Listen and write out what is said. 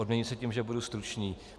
Odměním se tím, že budu stručný.